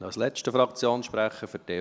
Als letzter Fraktionssprechender: